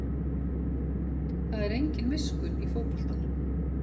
Það er engin miskunn í fótboltanum